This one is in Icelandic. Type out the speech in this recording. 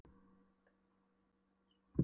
Það var betra en að menn legðust á varnarlaus börn.